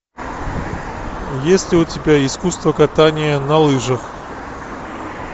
есть ли у тебя искусство катания на лыжах